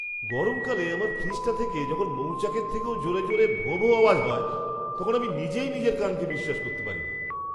গরমকালে আমার ফ্রিজটা থেকে যখন মৌচাকের থেকেও জোরে জোরে ভোঁভোঁ আওয়াজ হয়, তখন আমি নিজেই নিজের কানকে বিশ্বাস করতে পারি না!